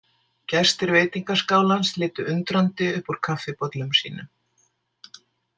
Gestir veitingaskálans litu undrandi upp úr kaffibollum sínum.